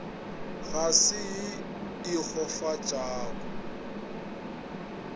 ga se ye e kgofatšago